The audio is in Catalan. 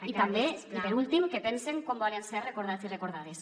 i també i per últim que pensen com volen ser recordats i recordades